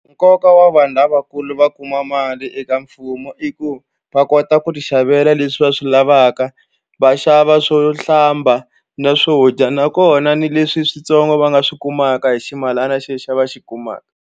Nkoka wa vanhu lavakulu va kuma mali eka mfumo i ku va kota ku tixavela leswi va swi lavaka va xava swo hlamba na swo dya nakona ni leswi switsongo va nga swi kumaka hi ximalana xi yo xava xi kumaka.